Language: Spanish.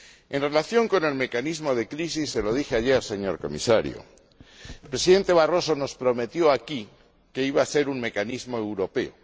En relación con el mecanismo de crisis se lo dije ayer, señor Comisario el Presidente Barroso nos prometió, aquí, que iba a ser un mecanismo europeo.